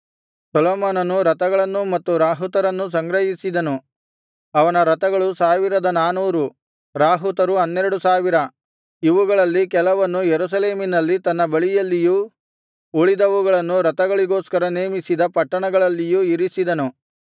ಸೊಲೊಮೋನನು ರಥಗಳನ್ನೂ ಮತ್ತು ರಾಹುತರನ್ನೂ ಸಂಗ್ರಹಿಸಿದನು ಅವನ ರಥಗಳು ಸಾವಿರದ ನಾನೂರು ರಾಹುತರು ಹನ್ನೆರಡು ಸಾವಿರ ಇವುಗಳಲ್ಲಿ ಕೆಲವನ್ನು ಯೆರೂಸಲೇಮಿನಲ್ಲಿ ತನ್ನ ಬಳಿಯಲ್ಲಿಯೂ ಉಳಿದವುಗಳನ್ನು ರಥಗಳಿಗೋಸ್ಕರ ನೇಮಿಸಿದ ಪಟ್ಟಣಗಳಲ್ಲಿಯೂ ಇರಿಸಿದನು